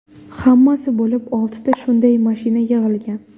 Hammasi bo‘lib oltita shunday mashina yig‘ilgan.